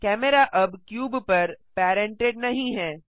camera अब cube पर parented नहीं है